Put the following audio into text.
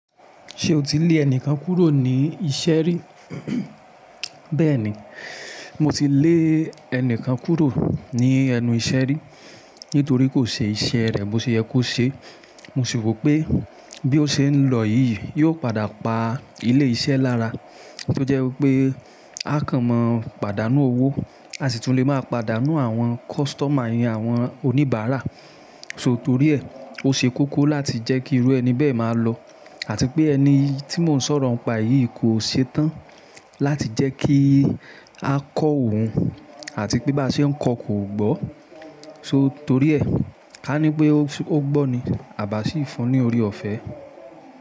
Ṣé o ti lé ẹnikan kúrò ní iṣẹ́ rí? Bẹ́ẹ̀ni, mo ti lé ẹnikan kúrò ní ẹnu iṣẹ́ rí nítorí kò ṣe iṣẹ́ rẹ̀ bóṣe yẹ kó ṣe. Mo sì rò pé bí ó ṣe ń lọ yìí yí ó padà pa ilé-iṣẹ́ lára. Tó jẹ́ wípé a kàn mo pàdánù owó, aṣitunle má pàdánù àwọn kọstọma yẹn, àwọn oníbàrà. So torí ẹ̀ ó ṣe kókó láti jẹ́ kí irú ẹni bẹ́ẹ̀ má lọ àti pé ẹni tí mo ń sọ̀rọ̀ ńpa e yí kò ṣe tán láti jẹ́ kí a kọ́ òun àti pé bá ṣe ń kọ́ kò gbọ́. So torí ẹ̀, ká ní pé ó gbọ́ ní abá sí fún ní ọ̀rẹ́ ọ̀fẹ́.